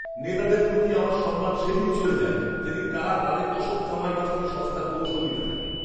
নেতাদের প্রতি আমার সম্মান সেদিনই চলে যায় যেদিন তারা তাদের অসৎ কামাই বাঁচাতে সস্তার কৌশল নিতে থাকে।